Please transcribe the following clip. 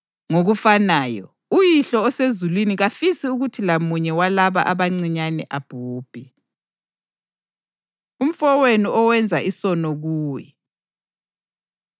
Ngokufanayo, uYihlo osezulwini kafisi ukuthi lamunye walaba abancinyane abhubhe.” Umfowenu Owenza Isono Kuwe